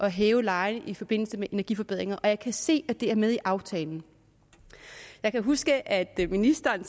hæve lejen i forbindelse med energiforbedringer og jeg kan se at det er med i aftalen jeg kan huske at ministeren